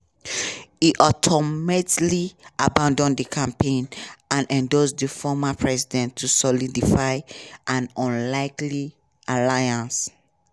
e ultimately abandon di campaign and endorse di former president to solidify an unlikely alliance.